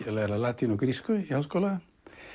að læra latínu og grísku í háskóla